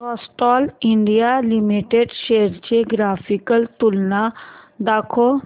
Castrol India limited shares ची graphical तुलना दाखव